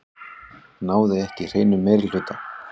Náði ekki hreinum meirihluta